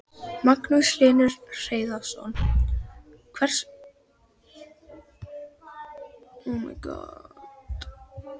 Magnús Hlynur Hreiðarsson: Hvers konar lausn gæti það orðið?